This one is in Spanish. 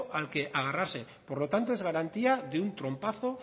al que agarrarse por lo tanto es garantía de un trompazo